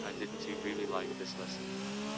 один тв ли ты сын